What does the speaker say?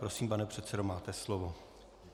Prosím, pane předsedo, máte slovo.